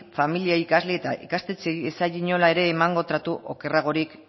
familiei ikasleei eta ikastetxeei ez zaie inola ere emango tratu okerragorik